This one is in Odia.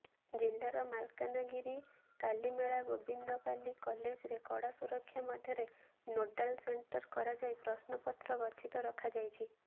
ଜିଲ୍ଲାର ମାଲକାନଗିରି କାଲିମେଳା ଗୋବିନ୍ଦପାଲି କଲେଜ ରେ କଡାସୁରକ୍ଷା ମଧ୍ୟରେ ନୋଡାଲ ସେଟଂର କରାଯାଇ ପ୍ରଶ୍ନପତ୍ର ଗଛିତ ରଖାଯାଇଛି